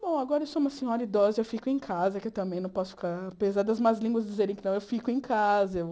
Bom, agora eu sou uma senhora idosa, eu fico em casa, que eu também não posso ficar... Apesar das más línguas dizerem que não, eu fico em casa. Eu